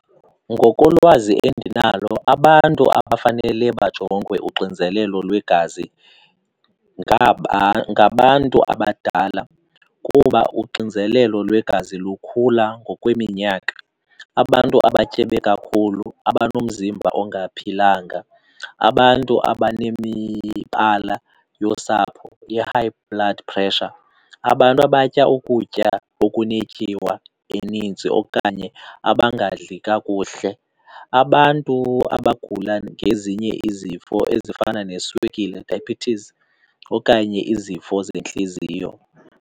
Ngokolwazi endinalo, abantu abafanele bajongwe uxinzelelo lwegazi ngabantu abadala kuba uxinzelelo lwegazi lukhula ngokweminyaka. Abantu abatyebe kakhulu, abanomzimba ongaphilanga, abantu abanemibala yosapho i-high blood pressure, abantu abatya ukutya okunetyiwa eninzi okanye abangadli kakuhle, abantu abagula ngezinye izifo ezifana neswekile, diabetes, okanye izifo zentliziyo.